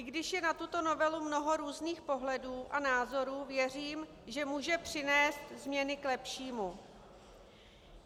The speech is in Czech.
I když je na tuto novelu mnoho různých pohledů a názorů, věřím, že může přinést změny k lepšímu.